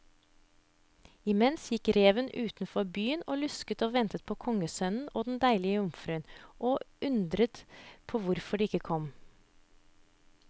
Imens gikk reven utenfor byen og lusket og ventet på kongssønnen og den deilige jomfruen, og undredes på hvorfor de ikke kom.